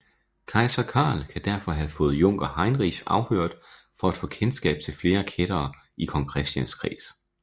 Kejser Karl kan derfor have fået junker Heinrich afhørt for at få kendskab til flere kættere i kong Christians kreds